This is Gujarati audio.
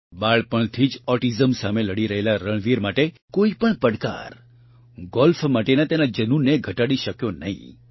બાળપણથી જ ઑટીઝમ સામે લડી રહેલા રણવીર માટે કોઇપણ પડકાર ગોલ્ફ માટેના તેના જનૂનને ઘટાડી શક્યો નહીં